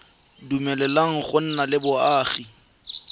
dumeleleng go nna le boagi